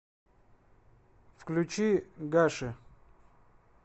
включи гаши